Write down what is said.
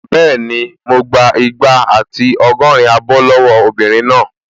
Bẹ́ẹ̀ni, mo gbà igba àti ọgọ́rin abọ́ lọ́wọ́ obìnrin náà